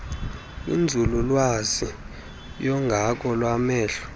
kwinzululwazi yonyango lwamehlo